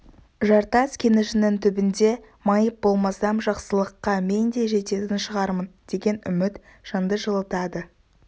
жартас кенішінің түбінде майып болмасам жақсылыққа мен де жететін шығармын деген үміт жанды жылытады